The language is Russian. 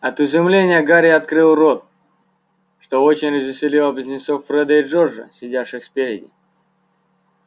от изумления гарри открыл рот что очень развеселило близнецов фреда и джорджа сидящих спереди